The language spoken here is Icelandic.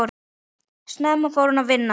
Snemma fór hún að vinna.